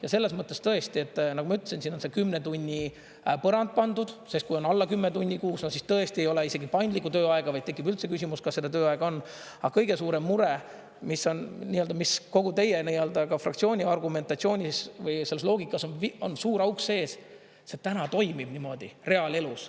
Ja selles mõttes tõesti, nagu ma ütlesin, siin on see kümne tunni põrand pandud, sest kui on alla kümne tunni kuus, siis tõesti ei ole isegi paindlikku tööaega, vaid tekib üldse küsimus, kas seda tööaega on, aga kõige suurem mure, mis on, mis kogu teie fraktsiooni argumentatsioonis või selles loogikas on suur auk sees, see täna toimib niimoodi reaalelus.